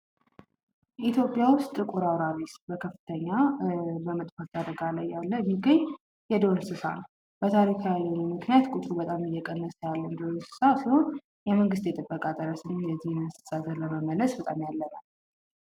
ኢትዮጵያ ውስጥ ጥቁር አውራሪስ በከፍተኛ በመጥፋት አደጋ ላይ ያለ የሚገኝ የዱር እንስሳት ነው። በታሪካዊነቱ ቁጥሩ በጣም እየቀነሰ ያለ እንስሳ ሲሆን፤ የመንግሥት የጥበቃ ሠራተኞች የዚህን እንስሳ ለመመለስ በጣም ያለ ነው።